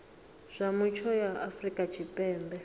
zwa mutsho ya afrika tshipembe